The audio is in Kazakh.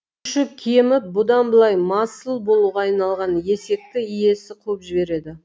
күші кеміп бұдан былай масыл болуға айналған есекті иесі қуып жібереді